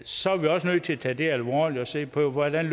så er vi også nødt til at tage det alvorligt og se på hvordan